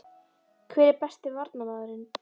Hver er besti Varnarmaðurinn?